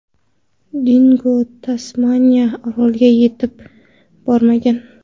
Dingo Tasmaniya oroliga yetib bormagan.